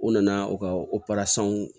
U nana u ka